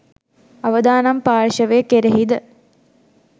අවදානම් පාර්ශවය කෙරෙහි ද